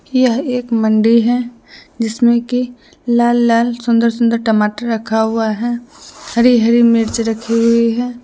यह एक मंडी है जिसमें की लाल लाल सुंदर सुंदर टमाटर रखा हुआ है हरी हरी मिर्च रखी हुई है।